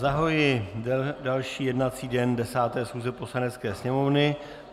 Zahajuji další jednací den 10. schůze Poslanecké sněmovny.